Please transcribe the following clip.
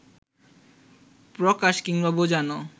প্রকাশ কিংবা বোঝানো